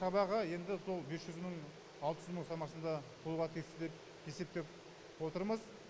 шабағы енді сол бес жүз мың алты жүз мың шамасында қолға тиесі деп есептеп отырмыз